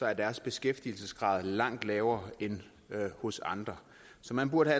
at deres beskæftigelsesgrad er langt lavere end hos andre så man burde